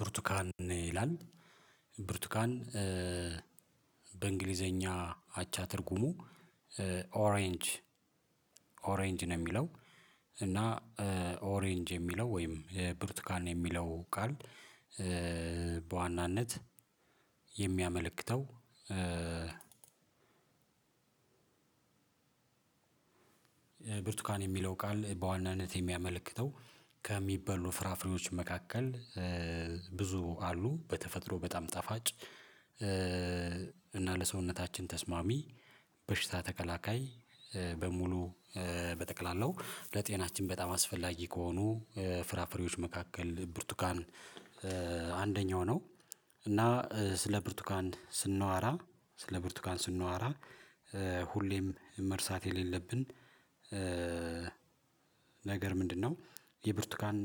ብርቱካን ይላል ብርቱካን በእንግሊዘኛ አቻ ትርጉሙ ኦሬንጅ ኦሬንጅ ነው። የሚለው እና ኦሬንጅ የሚለው ወይም ብሩቱካን የሚለው ቃል በዋናነት የሚያመለክተው። ብርቱካን የሚለው ቃል በዋናነት የሚያመለክተው ከሚበሉ ፍራፍሬዎች መካከል ብዙ አሉ በተፈጥሮ በጣም ጣፋጭ እና ለሰውነታችን ተስማሚ በሽታ ተከላካይ በሙሉ በጠቅላላው ለጤናችን በጣም አስፈላጊ ከሆኑ ፍራፍሬዎች መካከል ብርቱካን አንደኛው ነው። እና ስለ ብርቱካን ስናወራ ስለ ብርቱካን ስናወራ ሁሌም መርሳት የሌለብን ነገር ምንድን ነው? የብርቱካን